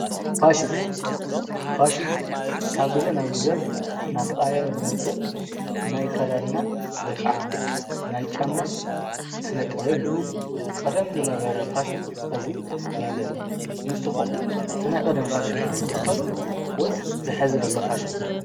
ፋሽን፡- ፋሽን ካብ ጊዜ ናብ ጊዘ ናተቓያየረ ዝመጽእ ናይ ኣካዳድና ወይ ኸዓ ናይ ጫማ ስነ ጥበብ እዩ፡፡ ቅደም ዝነበረ ፋሽን ኸዚ የለን፡፡ ንስኹም ትናይ ቀደም ፋሽን ዶ ትኽተሉ ወይስ ዝሐዚ ለሎ ፋሽን?